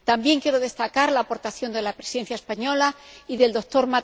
También quiero destacar la aportación de la Presidencia española y del Dr.